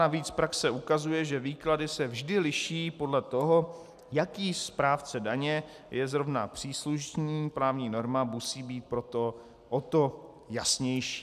Navíc praxe ukazuje, že výklady se vždy liší podle toho, jaký správce daně je zrovna příslušný, právní norma musí být proto o to jasnější.